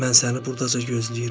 Mən səni burdaca gözləyirəm.